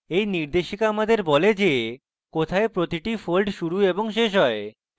এই নির্দেশিকা আমাদের বলে যে কোথায় প্রতিটি fold শুরু এবং শেষ হয়